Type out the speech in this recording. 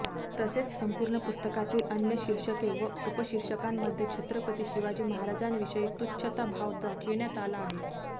तसेच संपूर्ण पुस्तकातील अन्य शीर्षके व उपशीर्षकांमध्ये छत्रपती शिवाजी महाराजांविषयी तुच्छ्ताभाव दाखविण्यात आला आहे